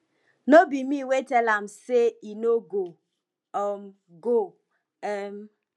no be me wey tell am say he no go um go um